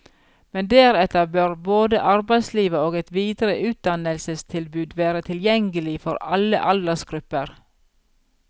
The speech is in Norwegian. Men deretter bør både arbeidslivet og et videre utdannelsestilbud være tilgjengelig for alle aldersgrupper.